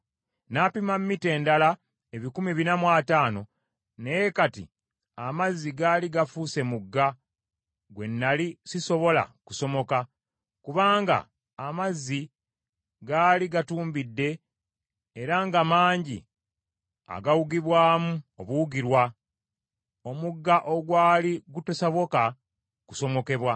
N’apima mita endala ebikumi bina mu ataano, naye kati amazzi gaali gafuuse mugga gwe nnali sisobola kusomoka kubanga amazzi gaali gatumbidde era nga mangi agawugibwamu obuwugirwa, omugga ogwali gutasoboka kusomokebwa.